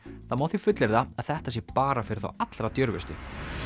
það má því fullyrða að þetta sé bara fyrir þá allra djörfustu